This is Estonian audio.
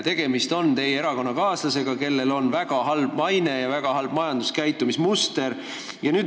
Tegemist on teie erakonnakaaslasega, kellel on väga halb maine ja majanduskäitumismuster.